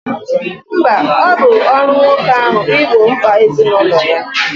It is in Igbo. Mba, ọ bụ ọrụ nwoke ahụ igbo mkpa ezinụlọ ya